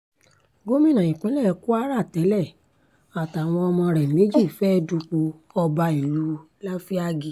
gómìnà ìpínlẹ̀ kwara tẹ́lẹ̀ àtàwọn ọmọ rẹ̀ méjì fẹ́ẹ́ dupò ọba ìlú láfíàgì